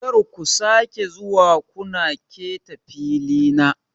Kar ku sake zuwa kuna keta filina.